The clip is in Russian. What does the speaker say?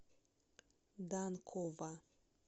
данкова